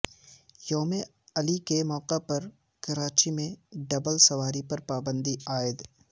یوم علی کے موقع پر کراچی میں ڈبل سواری پر پابندی عائد